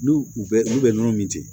N'u u bɛ n'u bɛ nɔnɔ min ten